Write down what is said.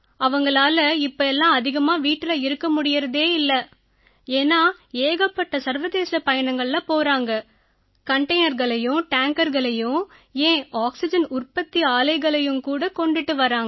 அவங்களால இப்ப எல்லாம் அதிகமா வீட்டுல இருக்க முடியறதே இல்லை ஏன்னா ஏகப்பட்ட சர்வதேச பயணங்கள்ல போறாங்க கண்டெய்னர்களையும் டேங்கர்களையும் ஏன் ஆக்சிஜன் உற்பத்தி ஆலைகளையும் கூட கொண்டுட்டு வர்றாங்க